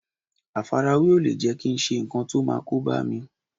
Àfarawé ò lè jẹ́ kí n ṣe nǹkan tó máa kóbá mi